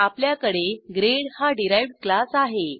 आपल्याकडे ग्रेड हा derived class आहे